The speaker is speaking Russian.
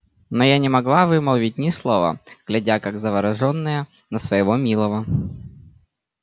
но я не могла вымолвить ни слова глядя как заворожённая на своего милого